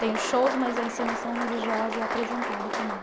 Tem os shows, mas a encenação religiosa é apresentada também.